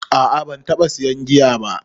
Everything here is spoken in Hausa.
A a ban taɓa sayan giya ba